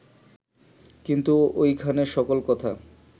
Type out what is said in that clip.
কিন্তু ঐখানে সকল কথা